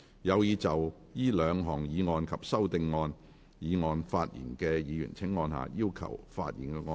有意就這兩項議案及修訂議案發言的議員請按下"要求發言"按鈕。